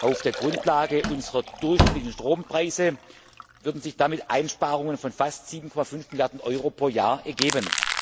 Auf der Grundlage unserer durchschnittlichen Strompreise würden sich damit Einsparungen von fast 7,5 Milliarden Euro pro Jahr ergeben.